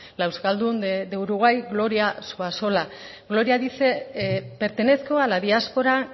la euskaldun de uruguay gloria zuazola gloria dice pertenezco a la diáspora